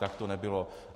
Tak to nebylo.